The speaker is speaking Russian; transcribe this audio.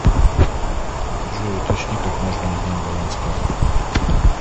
джой уточни как можно узнать баланс карты